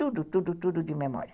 Tudo, tudo, tudo de memória.